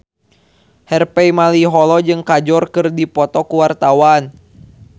Harvey Malaiholo jeung Kajol keur dipoto ku wartawan